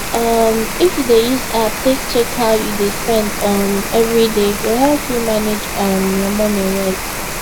um if you dey use app take check how you dey spend um everyday e go help you manage um your money well